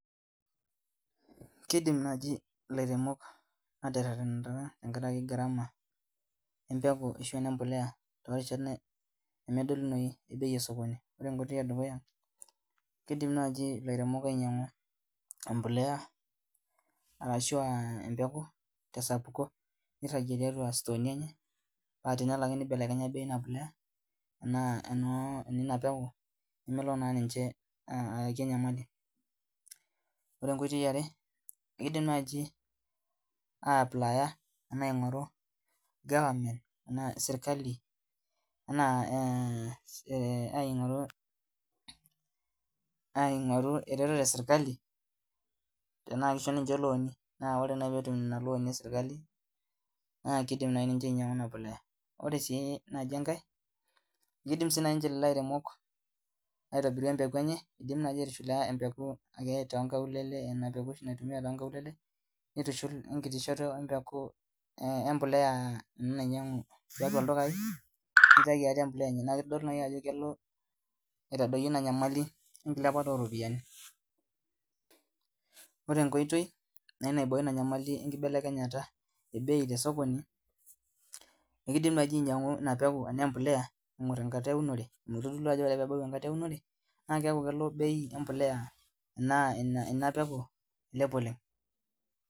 Kidim nai lairemok aterenata tenkaraki garama empeku ashu enempolea tosokoni ore enkoitoi edukuya kidim nai lairemok ainyangu empoleea ashu embeku tesapuko niragie tiatua sitoi enye patenelo ake nibelekenya bei inapolea aahu eninapeku nemelo na ninche ayaki enyamali ore enkoitoi eare kidim nai aingoru serkali anaa aingoru eretoto eserkali anaa kidho ninche loani ore petum inaretoto eserkali nakinyangu inapolea najibenkae kidim na loloairmeok aitobira empeku enye kidim nai atudumu empeku enye tiatua tonkaulele nitushul enkiti shoto empolea nainyangu tiatua ldukai nitau empolea enye na kitadolu ajo kelo aitadoyio inanyamali enkilepata oropiyiani ore enkoitoi enkibelekenyata ebei tosokoni ekidim naibainyangu inapolea ituebau enkata eunore amu ore ake pebau na keaku kelo bei empolea ailep oleng.